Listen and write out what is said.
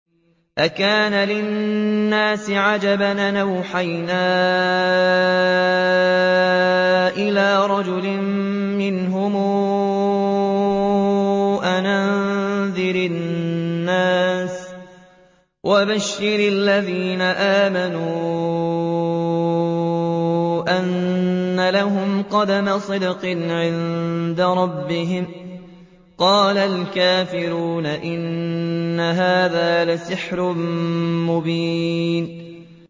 أَكَانَ لِلنَّاسِ عَجَبًا أَنْ أَوْحَيْنَا إِلَىٰ رَجُلٍ مِّنْهُمْ أَنْ أَنذِرِ النَّاسَ وَبَشِّرِ الَّذِينَ آمَنُوا أَنَّ لَهُمْ قَدَمَ صِدْقٍ عِندَ رَبِّهِمْ ۗ قَالَ الْكَافِرُونَ إِنَّ هَٰذَا لَسَاحِرٌ مُّبِينٌ